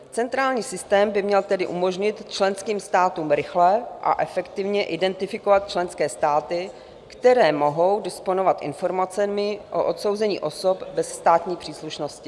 Centrální systém by měl tedy umožnit členským státům rychle a efektivně identifikovat členské státy, které mohou disponovat informacemi o odsouzení osob bez státní příslušnosti.